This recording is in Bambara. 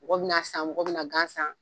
Mɔgɔw bi na san mɔgɔw bi na gan san